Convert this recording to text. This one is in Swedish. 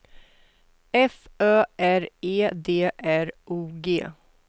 F Ö R E D R O G